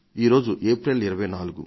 ఈరోజు ఏప్రిల్ 24